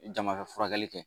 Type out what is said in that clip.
Jama ka furakɛli kɛ